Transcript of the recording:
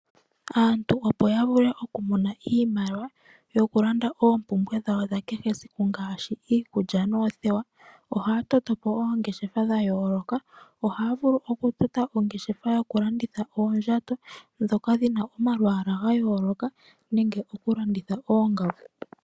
Aantu opo ya vule oku mona iimaliwa yoku landa oompumbwe dhawo dha kehe esiku ngashi iikulya noothewa ohaya to topo oongeshefa dha yo loka. Oha ya vulu ku tota ongeshefa yoku landitha oondjato dhoka dhina omalwala ga yo lokathana nenge ku landitha oongaku.